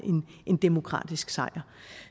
demokratisk sejr